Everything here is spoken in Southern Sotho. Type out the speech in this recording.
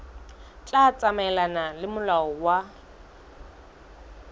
tla tsamaelana le molao wa